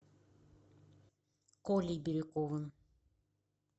колей бирюковым